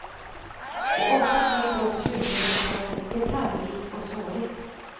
Och ofta blir då slutresultatet detaljrikt och snårigt.